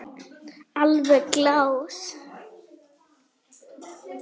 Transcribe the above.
Alveg glás.